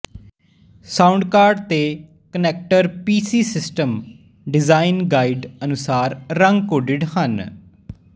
sound card ਤੇ connector PC system design guide ਅਨੁਸਾਰ ਰੰਗਕੋਡਿਡ ਹਨ